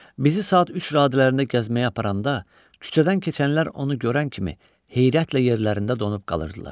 Bizi saat üç radələrində gəzməyə aparanda küçədən keçənlər onu görən kimi heyrətlə yerlərində donub qalırdılar.